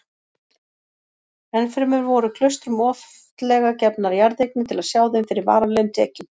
Ennfremur voru klaustrum oftlega gefnar jarðeignir til að sjá þeim fyrir varanlegum tekjum.